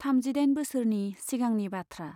थामजिदाइन बोसोरनि सिगांनि बाथ्रा।